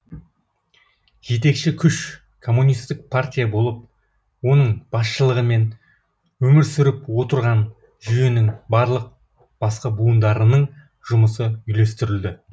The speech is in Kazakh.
жетекші күш коммунистік партия болып оның басшылығымен өмір сүріп отырған жүйенің барлық басқа буындарының жұмысы үйлестірілді